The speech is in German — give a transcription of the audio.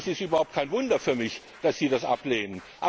Und das ist überhaupt kein Wunder für mich, dass sie das ablehnen.